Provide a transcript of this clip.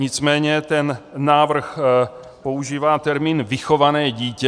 Nicméně ten návrh používá termín vychované dítě.